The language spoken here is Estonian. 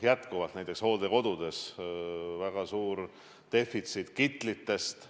Jätkuvalt on näiteks hooldekodudes väga suur kitlite defitsiit.